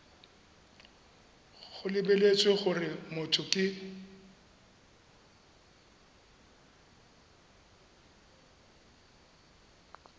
go lebeletswe gore motho ke